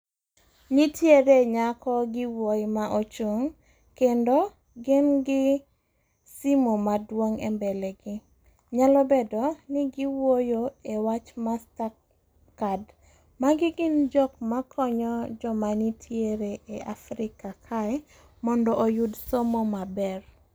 Nitiere nyako gi wuoyi ma ochung', kendo gin gi simu maduong' e mbele gi. Nyalo bedo ni giwuoyo e wach Mastercard. Magi gin jok makonyo joma nitiere e Africa kae mondo otud somo maber.